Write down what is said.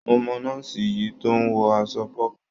Mo mọ̀ nọ́ọ̀sì yìí tó ń wọ aṣọ pọ́pù.